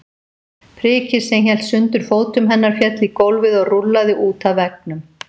Prikið sem hélt sundur fótum hennar féll í gólfið og rúllaði út að veggnum.